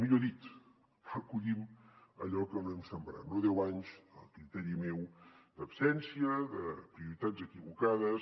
millor dit recollim allò que no hem sembrat no deu anys a criteri meu d’absència de prioritats equivocades